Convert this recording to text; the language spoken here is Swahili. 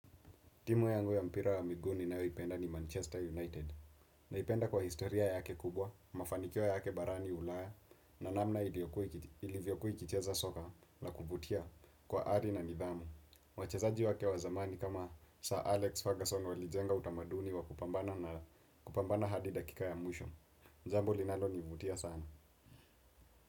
Timu yangu ya mpira wa miguu ninayoipenda ni Manchester United naipenda kwa historia yake kubwa, mafanikio yake barani Ulaya na namna ilivyokuwa ikicheza soka na kuvutia kwa hari na nidhamu. Wachezaji wake wa zamani kama Sir Alex Ferguson walijenga utamaduni wa kupambana hadi dakika ya mwisho. Jambo linalo nivutia sana.